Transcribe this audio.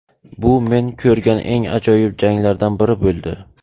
Bu men ko‘rgan eng ajoyib janglardan biri bo‘ldi.